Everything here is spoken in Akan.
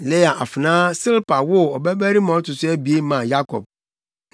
Lea afenaa Silpa woo ɔbabarima a ɔto so abien maa Yakob.